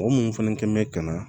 Mɔgɔ minnu fana kɛn bɛ ka na